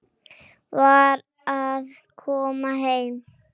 Var að koma heim.